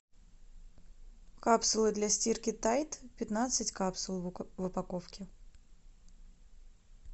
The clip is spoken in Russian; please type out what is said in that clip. капсулы для стирки тайд пятнадцать капсул в упаковке